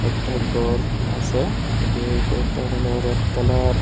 একটা ঘর আছে বে ওই ঘরটা হলো রেড কালার ।